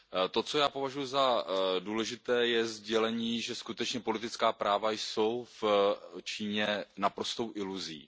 To, co já považuji za důležité, je sdělení, že skutečně politická práva jsou v Číně naprostou iluzí.